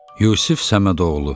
Yusif Səmədoğlu.